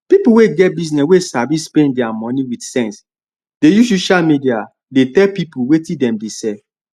pipu wey get business wey sabi spend dia money wit sense dey use social media dey tell people wetin dem dey sell